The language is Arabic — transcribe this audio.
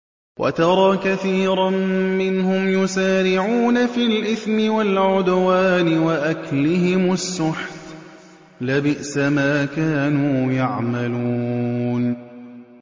وَتَرَىٰ كَثِيرًا مِّنْهُمْ يُسَارِعُونَ فِي الْإِثْمِ وَالْعُدْوَانِ وَأَكْلِهِمُ السُّحْتَ ۚ لَبِئْسَ مَا كَانُوا يَعْمَلُونَ